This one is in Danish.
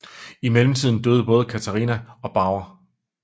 I mellemtiden døde både Katharina og Bauer